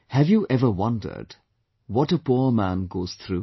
Have you ever wondered what a poor man goes through